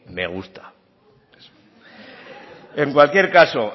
me gusta en cualquier caso